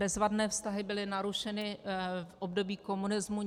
Bezvadné vztahy byly narušeny v období komunismu.